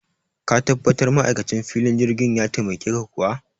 Ka tabbatar ma'aikacin filin jirgin ya taimake ka kuwa?